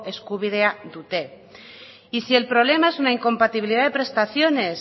eskubidea dute y si el problema es una incompatibilidad de prestaciones